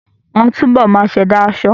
Wọ́n á túbọ̀ máa ṣẹ̀dá aṣọ